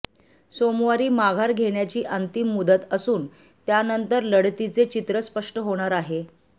सोमवारी माघार घेण्याची अंतिम मुदत असून त्यानंतर लढतीचे चित्र स्पष्ट होणार आहे